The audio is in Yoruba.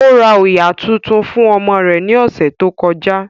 Ó ra òyà tuntun fún ọmọ rẹ̀ ní ọ̀sẹ̀ tó kọjá